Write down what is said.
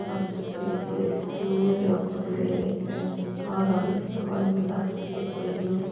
आ तो कोई एक स्कूल या कॉलेज है कोई --